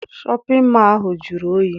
Shọpịn mọọ ahụ jụrụ oyi.